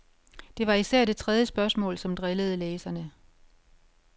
Det var især det tredje spørgsmål, som drillede læserne.